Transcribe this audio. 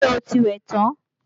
Ṣé o ti wẹ̀ tán?